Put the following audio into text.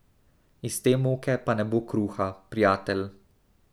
Iz te moke pa ne bo kruha, prijatelj!